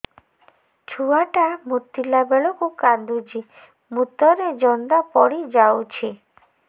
ଛୁଆ ଟା ମୁତିଲା ବେଳକୁ କାନ୍ଦୁଚି ମୁତ ରେ ଜନ୍ଦା ପଡ଼ି ଯାଉଛି